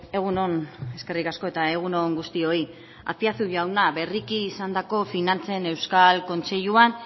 egun on eskerrik asko eta egun on guztioi aspiazu jauna berriki izandako finantzen euskal kontseiluan